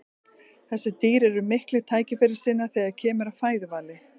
þessi dýr eru miklir tækifærissinnar þegar kemur að fæðuvali